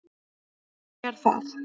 Hann er þar.